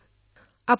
ধন্যবাদ মহোদয়